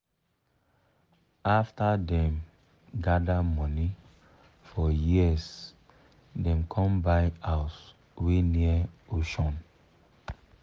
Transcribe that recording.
after dem gather money for years dem com buy house wey near ocean